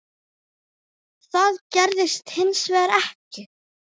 Það gerðist hins vegar ekki.